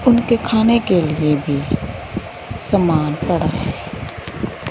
उनके खाने के लिए भी समान पड़ा है।